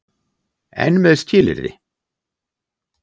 EN MEÐ SKILYRÐI.